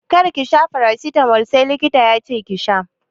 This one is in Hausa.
Kar ki sha farasitamol sai likita yace ki sha!